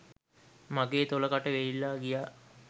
මගේ තොල කට වේලිලා ගියා